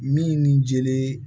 Min ni jeli